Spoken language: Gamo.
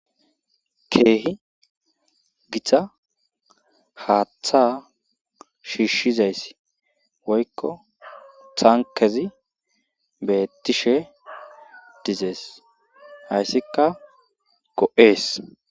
keehi gita haaththa shiisizayssi woykko tankerezi beetishe dizees. hayssikka go'ees.